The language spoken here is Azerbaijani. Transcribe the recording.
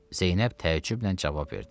Zeynəb təəccüblə cavab verdi.